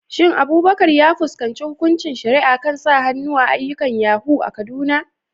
Shin Abubakar ya fuskanci hukuncin shari'a kan sa hannu a ayyukan yahoo a Kaduna?